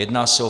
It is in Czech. Jedná se o